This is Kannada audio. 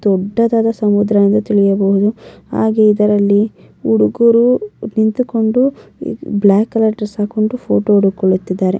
ದೊಡ್ಡದಾದ ಸಮುದ್ರ ಎಂದು ತಿಳಿಯಬಹುದು ಹಾಗೆ ಇದರಲ್ಲಿ ಹುಡುಗರು ನಿಂತುಕೊಂಡು ಬ್ಲಾಕ್ ಕಲರ್ ಡ್ರೆಸ್ ಹಾಕೊಂಡು ಫೋಟೋ ಹೊಂದುಕೊಳ್ತಿದ್ದರೆ-